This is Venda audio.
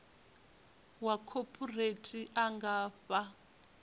wa khophorethivi a nga fha